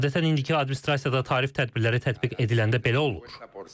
Adətən indiki administrasiyada tarif tədbirləri tətbiq ediləndə belə olur.